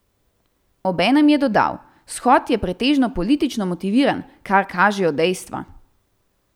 Obenem je dodal: "Shod je pretežno politično motiviran, kar kažejo dejstva.